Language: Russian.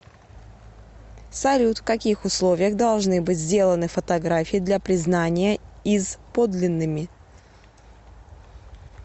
салют в каких условиях должны быть сделаны фотографии для признания из подлинными